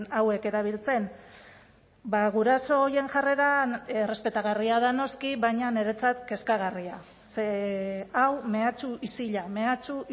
hauek erabiltzen guraso horien jarreran errespetagarria da noski baina niretzat kezkagarria ze hau mehatxu isila mehatxu